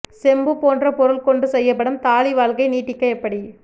செம்பு போன்ற பொருள் கொண்டு செய்யப்படும் தாளி வாழ்க்கை நீட்டிக்க எப்படி